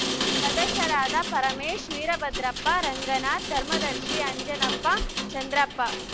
ಸದಸ್ಯರಾದ ಪರಮೇಶ್‌ ವೀರಭದ್ರಪ್ಪ ರಂಗನಾಥ್‌ಧರ್ಮದರ್ಶಿ ಅಂಜನಪ್ಪ ಚಂದ್ರಪ್ಪ